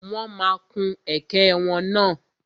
Wọ́n ma kun ẹ̀kẹ́ wọn náà.